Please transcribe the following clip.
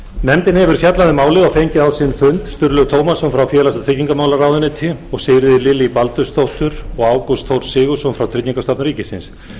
nefndin hefur fjallað um málið og fengið á sinn fund sturlaug tómasson frá félags og tryggingamálaráðuneyti og sigríði lillý baldursdóttur og ágúst þór sigurðsson frá tryggingastofnun ríkisins